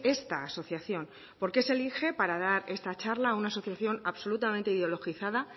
esta asociación por qué se elige para dar esta charla a una asociación absolutamente ideologizada